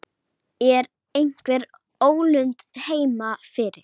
Ég svamla í fúlum pytti.